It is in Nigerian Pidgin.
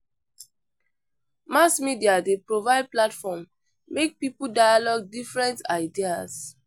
Mass media dey provide platform make people dialogue different ideas.